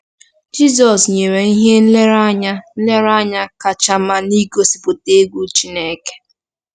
Jizọs nyere ihe nlereanya nlereanya kacha mma n’ịgosipụta “egwu Chineke.”